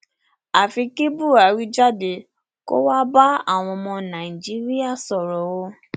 àfi kí buhari jáde kó wáá bá àwọn ọmọ nàìjíríà sọrọ o